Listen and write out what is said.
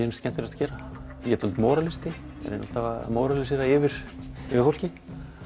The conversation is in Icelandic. finnst skemmtilegast að gera ég er dálítill móralisti ég er alltaf að móralisera yfir fólki